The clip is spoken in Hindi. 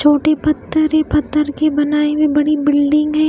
छोटी पत्थर है पत्थर की बनाई हुई बड़ी बिल्डिंग है।